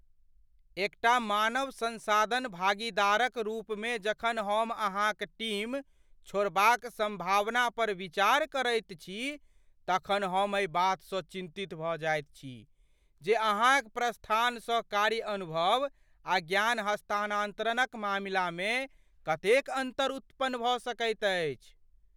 एकटा मानव संसाधन भागीदारक रूपमे जखन हम अहाँक टीम छोड़बाक संभावना पर विचार करैत छी तखन हम एहि बातसँ चिन्तित भऽ जाइत छी जे अहाँक प्रस्थानसँ कार्य अनुभव आ ज्ञान हस्तांतरणक मामिलामे कतेक अन्तर उत्पन्न भऽ सकैत अछि।